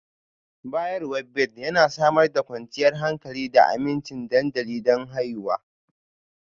Bayarwa Bed Yana Samar da kwanciyar hankali da aminci dandali don haihuwa